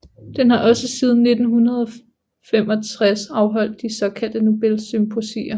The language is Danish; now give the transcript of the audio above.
Den har også siden 1965 afholdt de såkaldte Nobelsymposier